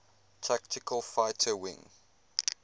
tactical fighter wing